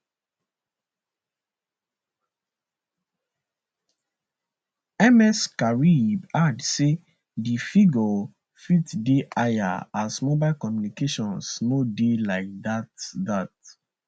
ms karib add say di figure fit dey higher as mobile communications no dey like dat dat